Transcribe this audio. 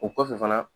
O kɔfɛ fana